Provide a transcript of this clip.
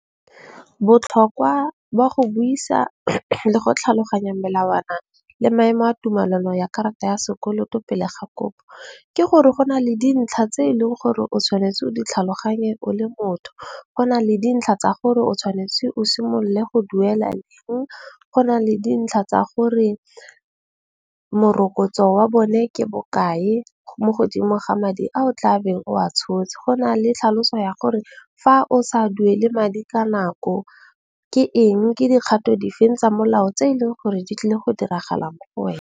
Botlhokwa ba go buisa le go tlhaloganya melawana le maemo a tumellano a karata ya sekoloto pele ga kopo, ke gore go na le dintlha tse eleng gore o tshwanetse o di tlhaloganye o le motho. Go na le dintlha tsa gore o tshwanetse o simolole go duela leng. Go na le dintlha tsa gore morokotso wa bone ke bokae mo godimo ga madi a o tlabeng o a tshotse. Go na le tlhaloso ya gore fa o sa duele madi ka nako ke eng ke dikgato di feng tsa molao tse eleng gore di tlile go diragala mo go wena.